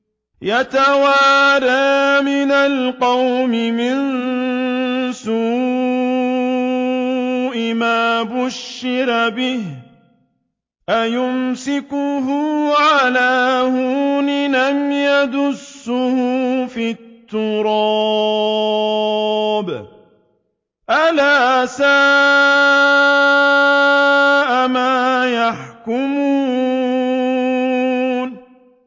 يَتَوَارَىٰ مِنَ الْقَوْمِ مِن سُوءِ مَا بُشِّرَ بِهِ ۚ أَيُمْسِكُهُ عَلَىٰ هُونٍ أَمْ يَدُسُّهُ فِي التُّرَابِ ۗ أَلَا سَاءَ مَا يَحْكُمُونَ